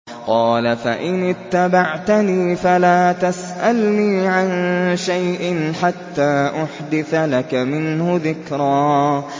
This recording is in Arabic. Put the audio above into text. قَالَ فَإِنِ اتَّبَعْتَنِي فَلَا تَسْأَلْنِي عَن شَيْءٍ حَتَّىٰ أُحْدِثَ لَكَ مِنْهُ ذِكْرًا